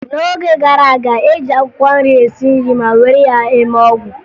N'oge gara aga, e ji akwụkwọ nri esi nri ma were ya eme ọgwụ